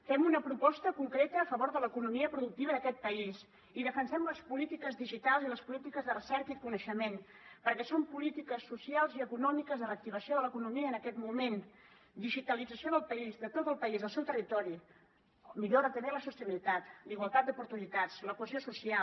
fem una proposta concreta a favor de l’economia productiva d’aquest país i defensem les polítiques digitals i les polítiques de recerca i coneixement perquè són polítiques socials i econòmiques de reactivació de l’economia en aquest moment digitalització del país de tot el país del seu territori millora també la sostenibilitat la igualtat d’oportunitats la cohesió social